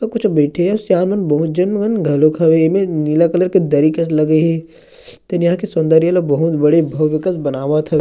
अऊ कुछो बैठे हे सियान मन बहुत झन मन घलोक हवेय ए मेर नीला कलर कस दरी के लगे हेतेन यहाँ के सौन्दर्य ल बहुत बड़े भाउवईकल बनावत ह--